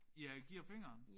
Ja giver fingeren?